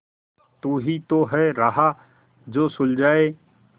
तू ही तो है राह जो सुझाए